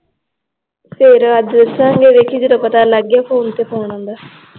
ਫਿਰ ਅੱਜ ਸਾਜਰੇ ਦੇਖੀ ਜਦੋਂ ਪਤਾ ਲੱਗ ਗਿਆ ਫੋਨ ਤੇ ਫੋਨ ਆਉਂਦਾl ਆਸ਼ਿਆ ਹੈਂ ਗੌਰਵ ਬੜਾ ਸਿਰ ਖਾਂਦਾ ਹੁੰਦਾ ਬਾਦ ਚ